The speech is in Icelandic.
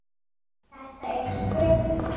Þetta er speki.